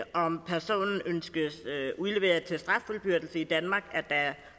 om personen ønskes udleveret til straffuldbyrdelse i danmark at der